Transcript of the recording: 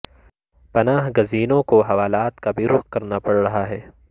پناہ گزینوں کو حوالات کا رخ بھی کرنا پڑ رہا ہے